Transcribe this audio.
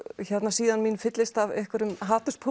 síðan mín fyllist af einhverjum